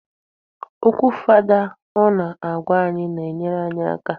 Okwu fada ọ na-agwa anyị na-enyere anyị aka.